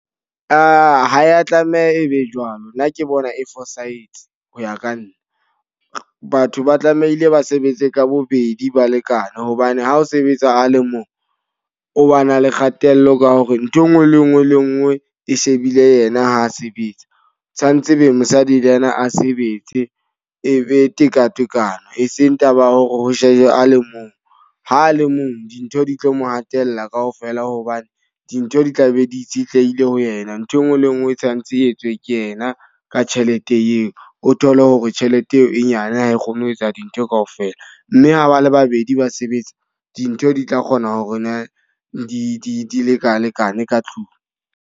Aa ha ya tlameha e be jwalo. Nna ke bona e fosahetse ho ya ka nna. Batho ba tlamehile ba sebetse ka bobedi, ba lekane. Hobane ha o sebetsa a le mong, o ba na le kgatello ka hore nthwe e nngwe le e nngwe le e nngwe e shebile yena ha a sebetsa. Tshwantse be mosadi le ena a sebetse, e be tekatekano. E seng taba ya hore ho sejwe a le mong. Ha a le mong dintho di tlo mo hatella ka ofela hobane dintho di tla be di itshitlehile ho yena. Ntho e nngwe le e nngwe e tshwantse e etswe ke yena ka tjhelete eo. O thole hore tjhelete eo e nyane ha e kgone ho etsa dintho ka ofela. Mme ha ba le babedi, ba sebetsa. Dintho di tla kgona ho na di leka lekane ka tlung.